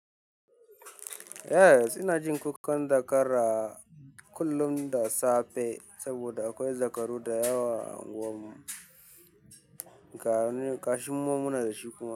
Yes, ina jin kukan zakara kullum da safe saboda akwai zakaru da yawa a unguwar mu, kashin mumuna da shi kuma.